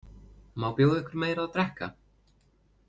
Má bjóða ykkur meira að drekka?